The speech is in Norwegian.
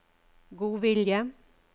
godvilje